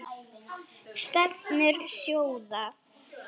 Stefnur sjóða